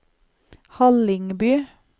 Hallingby